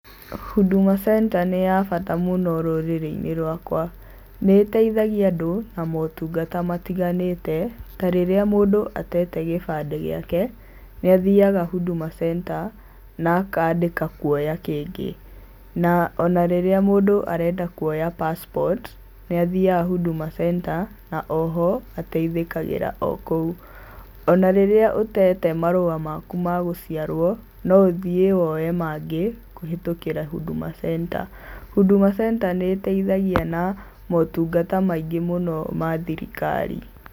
Huduma center nĩ ya bata mũno rũrĩrĩ-inĩ rwakwa. Nĩ ĩteithagia andũ na maũtungata matiganĩte, ta rĩrĩa mũndũ atete gĩbandĩ gĩake, nĩ athiaga Huduma center na akandĩka kuoya kĩngĩ. Na ona rĩrĩa mũndũ arenda kũoya passport, nĩ athiaga Huduma center, na oho, ataithĩkagĩra okũu. Ona rĩrĩa ũtete marũa maku ma gũciarwo, no ũthiĩ woe mangĩ kũhĩtũkĩra Huduma center. Huduma center nĩ ĩtaithagia na maũtungata maingĩ mũno ma thirikari.